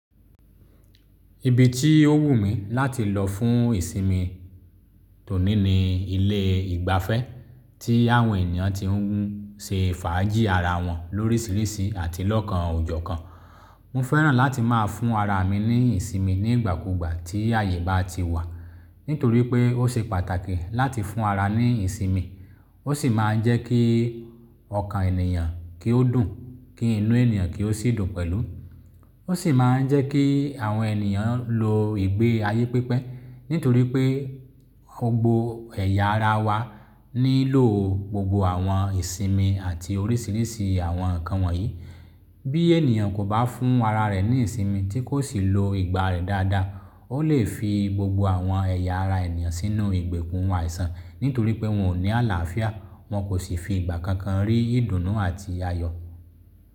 Ibi tí ó wù mí láti lọ fún ìsinmi tòní ni ilé ìgbafẹ́ tí àwọn ènìyàn ti ń ṣe fàájì ara wọn lórísìírísì àti lọ́kàn ojò kan. Mo fẹ́ràn láti má a fún ara mi ní ìsinmi nígbàkúgbà tí àyè bá ti wà, nítorí pé ó ṣe pàtàkì láti fún ara ní ìsinmi. Ó sì máa ń jẹ́ kí ọkàn ènìyàn kí ó dùn, kí inú ènìyàn kí ó sì dùn pẹ̀lú. Ó sì máa ń jẹ́ kí àwọn ènìyàn lo ìgbé ayé pípẹ́, nítorí pé gbogbo ẹ̀yà ara wa nílò gbogbo àwọn ìsinmi àti orísìírísìí àwọn nǹkan wọ̀nyí. Bí ènìyàn kò bá fún ara rẹ̀ ní ìsinmi tí kò sì lo ìgbà rẹ̀ dáadáa, ó lè fi gbogbo àwọn ẹ̀yà ara ènìyàn sínú ìgbèkùn àìsàn, nítorí pé wọn ò ní àlàáfíà, wọn kò sì fi ìgbà kankan rí ìdùnnú àti ayọ̀.